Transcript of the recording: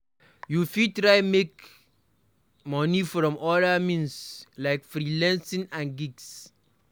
You fit try to make money from other means like freelancing and gigs